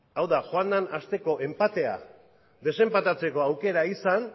hau da joan den asteko enpatea desenpatatzeko aukera izan